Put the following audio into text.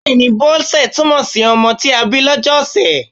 Bẹ́ẹ̀ni, Bọ́sẹ̀ túmọ̀ si ọmọ tí a bí lọ́jọ́ ọ̀sẹ̀.